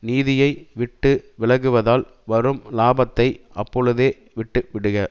நீதியை விட்டு விலகுவதால் வரும் லாபத்தை அப்பொழுதே விட்டு விடுக